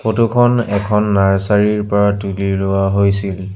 Photo খন এখন nursery ৰ পৰা তুলি লোৱা হৈছিল।